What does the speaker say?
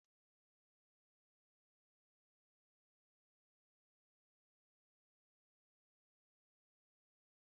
Ụdị ihe ilìlo na Naijiria bụ eba, tuwo, na ji a na-akụtu.